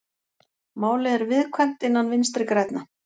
Málið er viðkvæmt innan Vinstri grænna